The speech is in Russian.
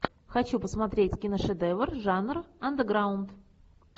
хочу посмотреть киношедевр жанр андеграунд